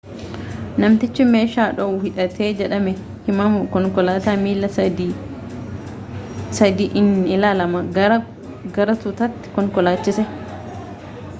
namtichi meeshaa dhoohu hidhatee jedhame himamu konkolaataa miila sadi'iinilalama gara tuutaatti konkolaachise